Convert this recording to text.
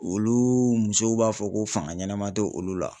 Olu musow b'a fɔ ko fanga ɲɛma tɛ olu la.